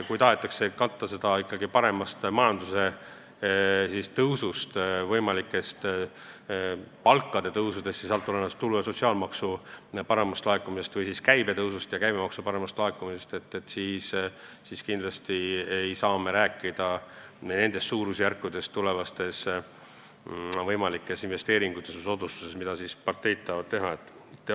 Kui tahetakse katta seda ikkagi paremast majanduse tõusust, võimalikest palgatõusudest, tulu- ja sotsiaalmaksu paremast laekumisest või siis käibe tõusust ja käibemaksu paremast laekumisest, siis ei saa me rääkida niisugustest suurusjärkudest tulevastes võimalikes investeeringutes ja soodustustes, mida parteid tahavad teha.